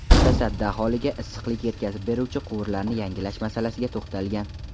Mutasaddi aholiga issiqlik yetkazib beruvchi quvurlarni yangilash masalasiga to‘xtalgan.